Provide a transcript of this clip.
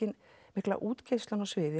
mikla útgeislun á sviði